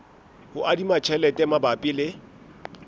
ho adima tjhelete mabapi le